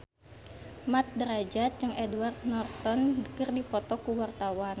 Mat Drajat jeung Edward Norton keur dipoto ku wartawan